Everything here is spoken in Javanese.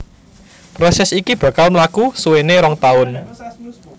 Prosès iki bakal mlaku suwéné rong taun